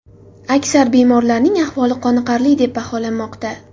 Aksar bemorlarning ahvoli qoniqarli deb baholanmoqda.